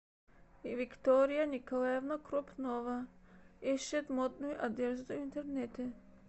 виктория николаевна крупнова ищет модную одежду в интернете